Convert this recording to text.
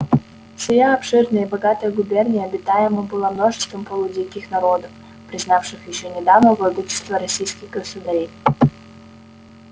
сия обширная и богатая губерния обитаема была множеством полудиких народов признавших ещё недавно владычество российских государей